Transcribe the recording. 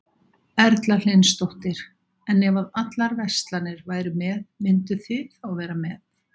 Erla Hlynsdóttir: En ef að allar verslanir væru með, mynduð þið þá vera með?